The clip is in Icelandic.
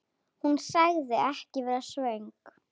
Hún sagðist ekki vera svöng.